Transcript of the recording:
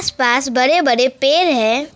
पास बड़े बड़े पेड़ है।